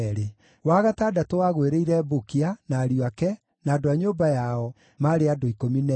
wa gatandatũ wagũĩrĩire Bukia, na ariũ ake, na andũ a nyũmba yao, maarĩ andũ 12;